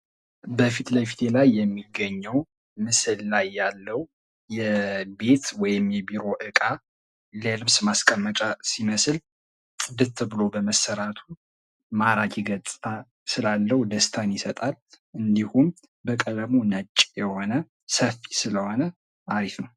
በፊት ለፊቴ ላይ የሚገኘው ምስል ላይ ያለው የቤት ወይም የቢሮ እቃ የልብስ ማስቀመጫ ሲመስል ጽድት ብሎ በመሰራቱ ማራኪ ገጽ ስላለው ደስታን ይሰጣል፡ እንዲሁም በቀለሙ ነጭ የሆነ ስለሆነ አሪፍ ነው።